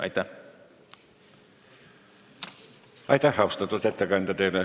Aitäh, austatud ettekandja!